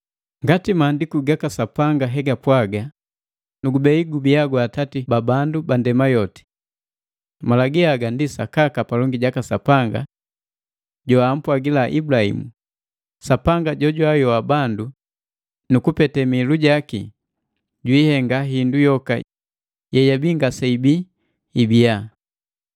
Ngati maandiku gaka Sapanga hegapwaga, “Nugubei gubia gwa atati ba bandu ba ndema yoti.” Malagi haga ndi sakaka palongi jaka Sapanga joampwagila Ibulaimu, Sapanga jojwaayoa bandu, nukupete mihilu yaki, jwiihenga hindu yoka yeyabii ngaseibii ibiya.